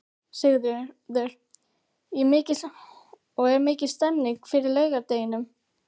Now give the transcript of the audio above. Sigríður: Og er mikil stemning fyrir laugardeginum?